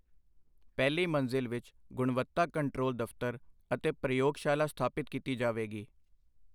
ਪਹਿਲੀ ਮੰਜ਼ਿਲ ਵਿੱਚ ਗੁਣਵੱਤਾ ਕੰਟਰੋਲ ਦਫ਼ਤਰ ਅਤੇ ਪ੍ਰਯੋਗਸ਼ਾਲਾ ਸਥਾਪਿਤ ਕੀਤੀ ਜਾਵੇਗੀ।